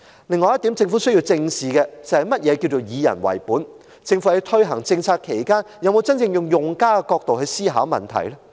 另外，政府也需要正視何謂"以人為本"，政府在推行政策時，有否真正以用家的角度思考問題？